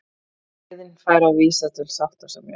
Samiðn fær að vísa til sáttasemjara